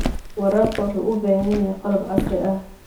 Waraabka wuxuu u baahan yahay qalab casri ah.